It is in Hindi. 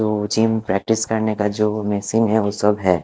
वो जिम प्रैक्टिस करने का जो मशीन है वो सब है।